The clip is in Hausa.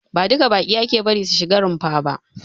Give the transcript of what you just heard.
Ba duka baƙi ake bari su shiga runfa ba.